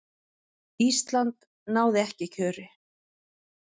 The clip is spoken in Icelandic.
ísland náði ekki kjöri